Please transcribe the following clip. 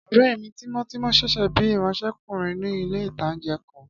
Ọ̀rẹ́ mi tímọ́tímọ́ n ṣiṣẹ́ bíi ìránsẹ́kùnrin ní ilé-ìtánjẹ kan